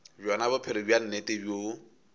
bjona bophelo bja nnete bjoo